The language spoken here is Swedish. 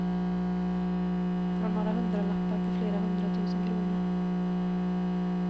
Från några hundralappar till flera hundra tusen kronor.